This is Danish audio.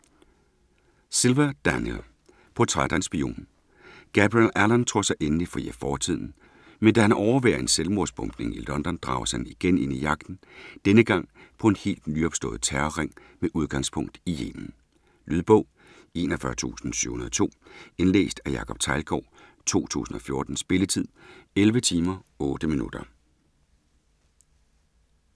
Silva, Daniel: Portræt af en spion Gabriel Allon tror sig endelig fri af fortiden, men da han overværer en selvmordsbombning i London, drages han igen ind i jagten: denne gang på en helt nyopstået terrorring med udgangspunkt i Yemen. Lydbog 41702 Indlæst af Jacob Teglgaard, 2014. Spilletid: 11 timer, 8 minutter.